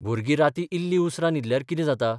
भुरगीं रातीं इल्लीं उसरां न्हिदल्यार कितें जाता?